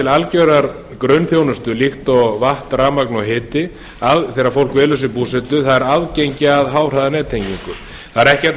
algerrar grunnþjónustu líkt og vatn rafmagn og hiti þegar fólk velur sér búsetu það er aðgengi að háhraðanettengingu það er